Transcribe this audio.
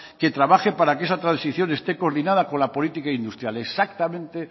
que trabaje para que esa transición esté coordinada con la política industrial exactamente